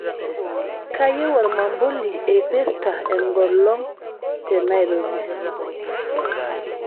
kayieu ormambuli eipirta engolong' tenairobi